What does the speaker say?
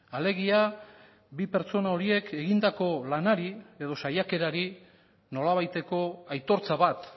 alegia bi pertsona horiek egindako lanari edo saiakerari nolabaiteko aitortza bat